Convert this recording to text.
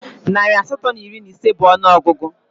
Narị asatọ na iri na ise bụ ọnụọgụgụ